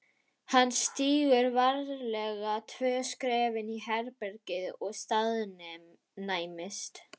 Hann stígur varlega tvö skref inn í herbergið og staðnæmist.